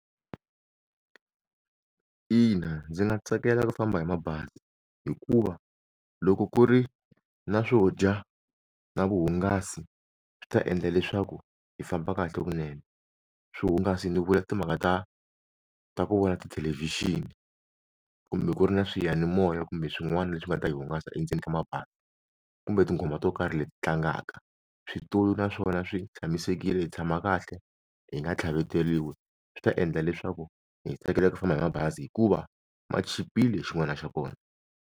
Ina, ndzi nga tsakela ku famba hi mabazi hikuva loko ku ri na swo dya na vuhungasi swi ta endla leswaku hi famba kahle vunene swihungasi ni vula timhaka ta ta ku vona tithelevhixini kumbe ku ri na swiyanimoya kumbe swin'wana leswi nga ta hi hungasa endzeni ka mabazi kumbe tinghoma to karhi leti tlangaka switulu na swona swi tshamisekile hi tshama kahle hi nga tlhaveteriwi swi ta endla leswaku hi tsakela ku famba hi mabazi hikuva ma chipile xin'wana xa kona.